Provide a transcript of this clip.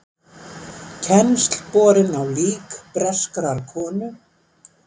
Kennsl borin á lík breskrar konu